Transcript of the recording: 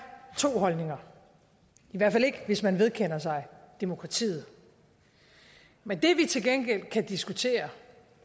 to holdninger i hvert fald ikke hvis man vedkender sig demokratiet men det vi til gengæld kan diskutere